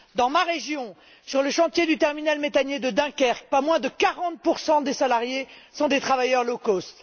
Dans ma région, sur le chantier du terminal méthanier de Dunkerque, pas moins de 40 des salariés sont des travailleurs low cost